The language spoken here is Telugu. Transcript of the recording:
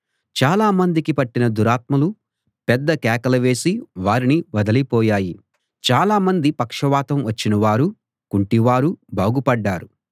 చాలా మందికి పట్టిన దురాత్మలు పెద్ద కేకలు వేసి వారిని వదలిపోయాయి చాలామంది పక్షవాతం వచ్చినవారూ కుంటివారూ బాగుపడ్డారు